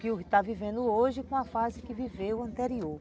Que o que está vivendo hoje com a fase que viveu anterior.